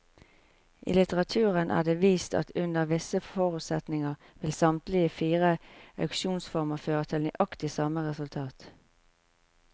I litteraturen er det vist at under visse forutsetninger vil samtlige fire auksjonsformer føre til nøyaktig samme resultat.